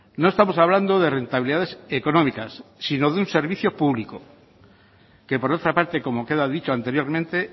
no estamos hablando de rentabilidades económicas sino de un servicio público que por otra parte como queda dicho anteriormente